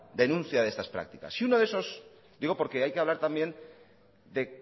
denuncia de estas prácticas y uno de esos digo porque hay que hablar también de